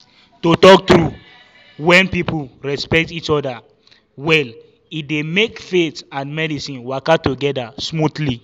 to talk true when people respect each other well e dey make faith and medicine waka together smoothly.